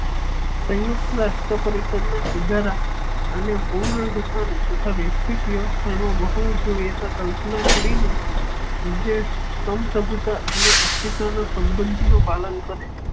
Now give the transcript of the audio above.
સયુક્ત રાષ્ટ્ર પરિસદના સુધારા અને પૂર્વ ગઠન તથા વૈશ્વિક વ્યવસ્થા નો બહુ કલ્પના કરી ને ઉધેશ સ્તંભ પ્રભુતા અને અતિસત્વ ના સંબંધ નો પાલન કરે.